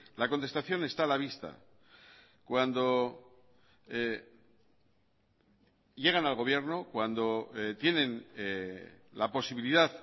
la contestación está a la vista cuando llegan al gobierno cuando tienen la posibilidad